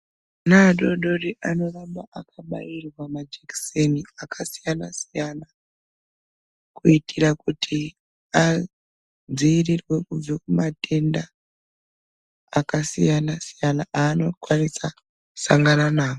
Ana adodori anoramba akabairwa majekiseni akasiyana siyana kuitira kuti adziirirwe kubve kumatenda akasiyana siyana aanokwanisa kusangana nawo.